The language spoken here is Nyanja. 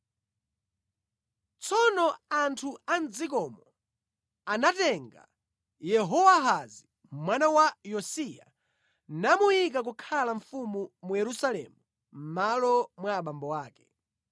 Tsono anthu a mʼdzikomo anatenga Yehowahazi mwana wa Yosiya namuyika kukhala mfumu mu Yerusalemu mʼmalo mwa abambo ake.